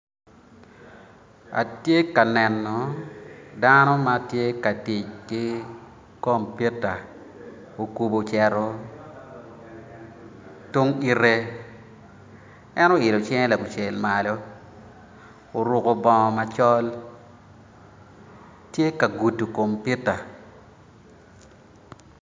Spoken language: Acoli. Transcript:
Atye ka neno dano ma tye ka tic ki compita okubo ocito tung ite en oilo cinge lakucel malo oruko bongo macol tye ka gudo compita